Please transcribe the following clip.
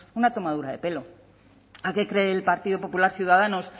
una tomadura de pelo a qué cree el partido popular ciudadanos